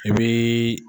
I bii